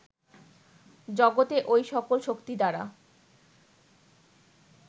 জগতে ঐ সকল শক্তি দ্বারা